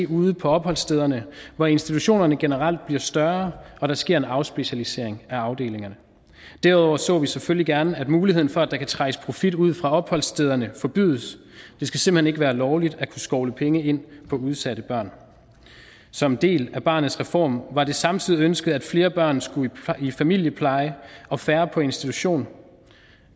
ude på opholdsstederne hvor institutionerne generelt bliver større og der sker en afspecialisering af afdelingerne derudover ser vi selvfølgelig gerne at muligheden for at der kan trækkes profit ud fra opholdsstederne forbydes det skal simpelt hen ikke være lovligt at kunne skovle penge ind på udsatte børn som en del af barnets reform var det samtidig ønsket at flere børn skulle i familiepleje og færre på institution